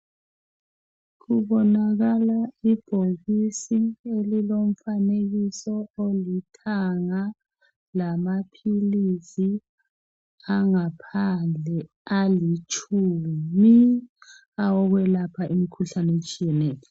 Kubonakala ibhokisi elilomfanekiso olithanga lamaphilisi angaphandle alitshumi awokwelapha imikhuhlane etshiyeneyo